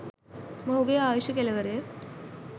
මොහුගේ ආයුෂ කෙලවර